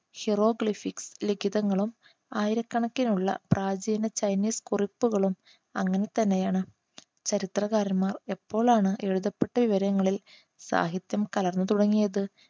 hieroglyphics ലിഖിതങ്ങളും ആയിരക്കണക്കിനുള്ള പ്രാചീന ചൈനീസ് കുറിപ്പുകളും അങ്ങനെതന്നെയാണ് ചരിത്രകാരന്മാർ എപ്പോഴാണ് എഴുതപ്പെട്ട വിവരങ്ങളിൽ സാഹിത്യം കലർന്നു തുടങ്ങിയത്